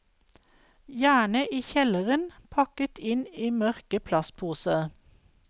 Gjerne i kjelleren, pakket inn i mørke plastposer.